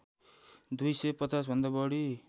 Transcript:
दुई सय पचाँस भन्दा बढी